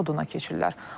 Oduna keçirlər.